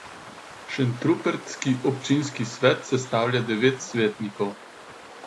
Šentrupertski občinski svet sestavlja devet svetnikov.